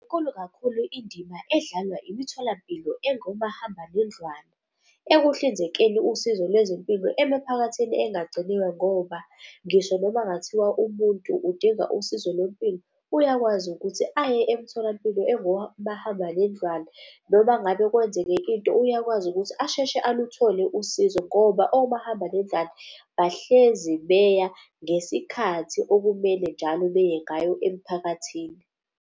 Inkulu kakhulu indima edlalwa imitholampilo engomahambanendlwana ekuhlinzekeni usizo lwezempilo emiphakathini engagciniwe ngoba ngisho noma kungathiwa ubuntu udinga usizo lwempilo uyakwazi ukuthi aye emtholampilo engomahambanendlwana. Noma ngabe kwenzeke into uyakwazi ukuthi asheshe aluthole usizo ngoba omahambanendlwana bahlezi beya ngesikhathi okumele njalo beye ngayo emphakathini.